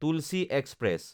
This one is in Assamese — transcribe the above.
তুলচী এক্সপ্ৰেছ